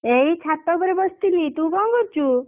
ଏଇ ଛାତ ଉପରେ ବସିଥିଲି। ତୁ କଣ କରୁଛୁ?